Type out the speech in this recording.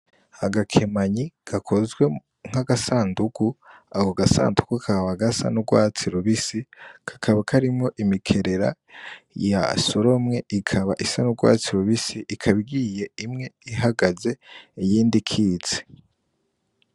Agakemanyi gakozwe nk'agandugu ako gasandugu kaba gasa n' ugwatsi rubisi kakaba karimwo imikerera yasoromwe ikaba isa n' ugwatsi rubisi ikaba ihiye imwe ihagaze iyindi ikitse.